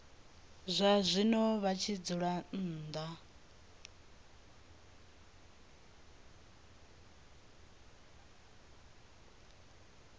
zwazwino vha tshi dzula nnḓa